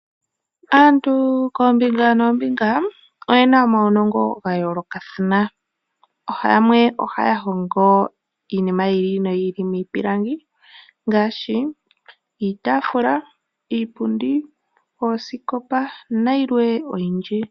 Aantu koombinga noombinga oyena omaunongo gayoolokathana. Yamwe ohaya hongo iinima yi ili noyi ili miipilangi ngaashi iitafula, iipundi, oosikopa nayilwe oyindji.